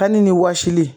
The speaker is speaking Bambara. Kanni ni wɔsili